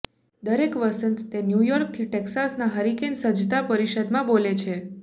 દરેક વસંત તે ન્યૂ યોર્કથી ટેક્સાસના હરિકેન સજ્જતા પરિષદમાં બોલે છે